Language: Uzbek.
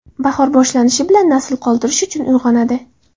Bahor boshlanishi bilan nasl qoldirish uchun uyg‘onadi.